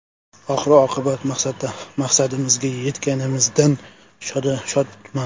Oxir-oqibat maqsadimizga yetganimizdan shodman.